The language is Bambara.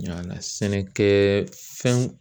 Yaala sɛnɛkɛ fɛnw